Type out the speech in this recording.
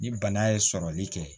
Ni bana ye sɔrɔli kɛ